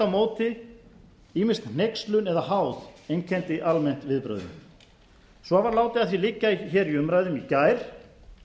móti ýmist hneykslun eða háð einkenndi almennt viðbrögðin svo var látið að því liggja hér í umræðum í gær